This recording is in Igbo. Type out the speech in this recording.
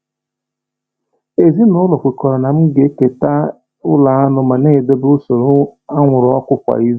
Ezinụlọ kwekọrọ na m ga-ekete ụlo aṅụ ma na-edobe usoro anwụrụ ọkụ kwa izu.